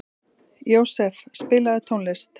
Jósef, spilaðu tónlist.